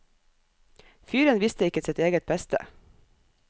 Fyren visste ikke sitt eget beste.